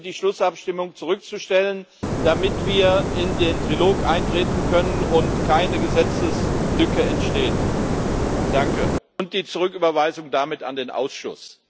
Ich bitte, die Schlussabstimmung zurückzustellen, damit wir in den Trilog eintreten können und keine Gesetzeslücke entsteht, und damit um die Zurücküberweisung an den Ausschuss.